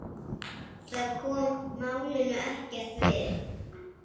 Það kom málinu ekkert við.